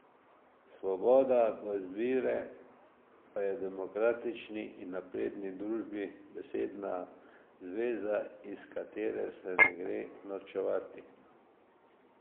Svoboda do izbire pa je v demokratični in napredni družbi besedna zveza, iz katere se ne gre norčevati.